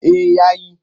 Eh ya yi.